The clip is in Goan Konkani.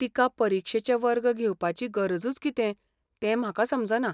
तिका परीक्षेचे वर्ग घेवपाची गरजूच कितें तें म्हाका समजना.